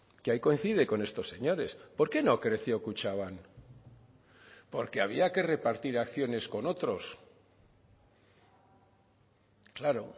que ahí coincide con estos señores por qué no creció kutxabank porque había que repartir acciones con otros claro